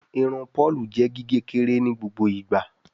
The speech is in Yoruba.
Irun Paul jé gige kékeré ní gbogbo ìgba.